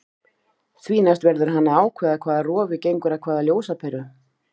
Því næst verður hann að ákveða hvaða rofi gengur að hvaða ljósaperu.